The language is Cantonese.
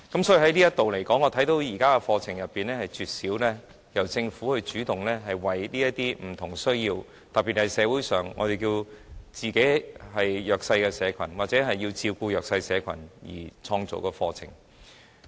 所以，就這方面來說，我看見現時的課程中絕少由政府主動為這些有不同需要的人士，特別是社會上的弱勢社群或為照顧弱勢社群而開辦的課程。